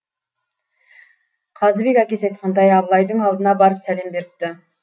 қазыбек әкесі айтқандай абылайдың алдына барып сәлем беріпті